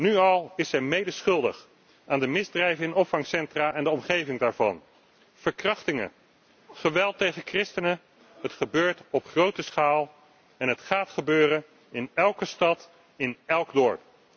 Nu al is zij medeschuldig aan de misdrijven in opvangcentra en de omgeving daarvan. Verkrachtingen, geweld tegen christenen, het gebeurt op grote schaal en het gaat gebeuren in elke stad, in elk dorp.